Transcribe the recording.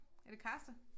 Er det karse?